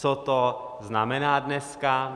Co to znamená dneska?